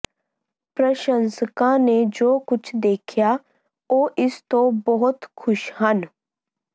ਪ੍ਰਸ਼ੰਸਕਾਂ ਨੇ ਜੋ ਕੁਝ ਦੇਖਿਆ ਉਹ ਇਸ ਤੋਂ ਬਹੁਤ ਖੁਸ਼ ਹਨ